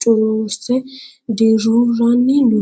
cururreessa dirruiranni no